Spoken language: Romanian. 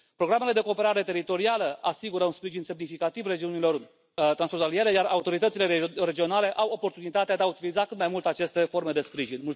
Programele de cooperare teritorială asigură un sprijin semnificativ regiunilor transfrontaliere, iar autoritățile regionale au oportunitatea de a utiliza cât mai mult aceste forme de sprijin.